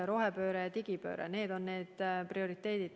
Rohepööre ja digipööre – needki on meie valitsuse prioriteedid.